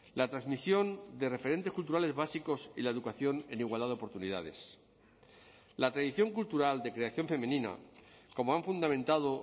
la transmisión de referentes culturales básicos y la educación en igualdad de oportunidades la tradición cultural de creación femenina como han fundamentado